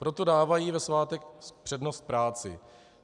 Proto dávají ve svátek přednost práci.